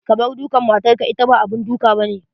Kabar dukan matar ka, ita ba abun duk abane.